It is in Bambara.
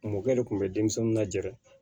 Mɔkɛ de tun bɛ denmisɛnninw lajɛ